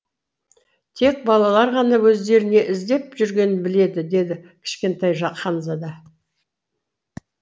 тек балалар ғана өздері не іздеп жүргенін біледі деді кішкентай ханзада